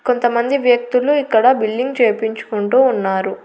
కొంతమంది వ్యక్తులు ఇక్కడ బిల్లింగ్ చేపించుకుంటూ ఉన్నారు.